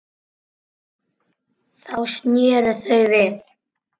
Þá sneru þau við.